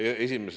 Aitäh!